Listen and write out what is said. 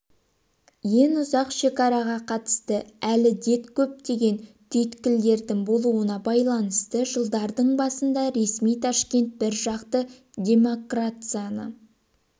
ең ұзақ шекараға қатысты әлі дет көптеген түйткілдердің болуына байланысты жылдардың басында ресми ташкент біржақты демакрацияны